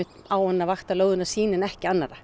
á hann að vakta lóðina sína en ekki annarra